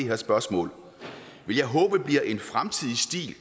her spørgsmål vil jeg håbe bliver en fremtidig stil og